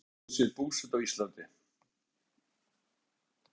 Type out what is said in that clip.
Ingólfur Arnarson tekur sér búsetu á Íslandi.